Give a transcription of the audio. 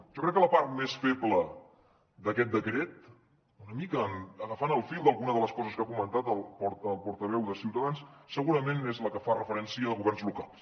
jo crec que la part més feble d’aquest decret una mica agafant el fil d’alguna de les coses que ha comentat el portaveu de ciutadans segurament és la que fa referència a governs locals